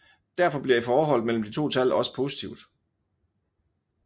Derfor bliver forholdet mellem de to tal også positivt